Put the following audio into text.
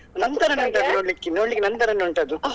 ನನ್ ತರಾನೇ ಉಂಟು ಅದು ನೋಡ್ಲಿಕ್ಕೆ ನೋಡ್ಲಿಕ್ಕೆ ನನ್ ತರನೇ ಉಂಟ್ ಅದು.